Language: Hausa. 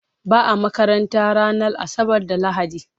Ba a makaranta ranar Asabar da Lahadi.